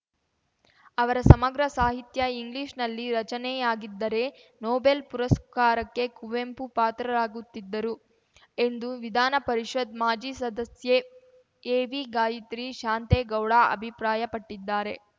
ಅವರ ಸಮಗ್ರ ಸಾಹಿತ್ಯಇಂಗ್ಲಿಷ್‌ನಲ್ಲಿ ರಚನೆಯಾಗಿದ್ದರೆ ನೊಬೆಲ್‌ ಪುರಸ್ಕಾರಕ್ಕೆ ಕುವೆಂಪು ಪಾತ್ರರಾಗುತ್ತಿದ್ದರು ಎಂದು ವಿಧಾನ ಪರಿಷತ್‌ ಮಾಜಿ ಸದಸ್ಯೆ ಎವಿಗಾಯತ್ರಿ ಶಾಂತೇಗೌಡ ಅಭಿಪ್ರಾಯಪಟ್ಟಿದ್ದಾರೆ